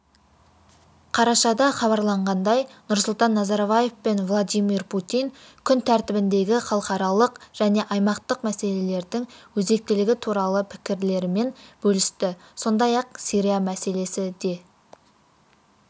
қарашада хабарланғандай нұрсұлтан назарбаев пен владимир путин күн тәртібіндегі халықаралық және аймақтық мәселелердің өзектілігі туралы пікірлерімен бөлісті сондай-ақ сирия мәселесі де